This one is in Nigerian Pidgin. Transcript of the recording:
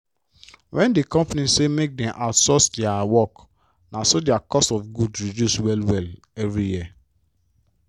when di company say make dem outsource dia work naso dia cost of goods reduce well-well every year.